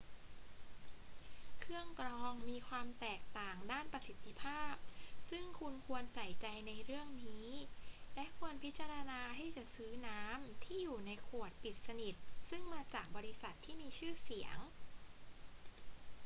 เครื่องกรองมีความแตกต่างด้านประสิทธิภาพซึ่งคุณควรใส่ใจในเรื่องนี้ และควรพิจารณาที่จะซื้อน้ำที่อยู่ในขวดปิดสนิทซึ่งมาจากบริษัทที่มีชื่อเสียง